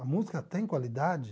A música tem qualidade?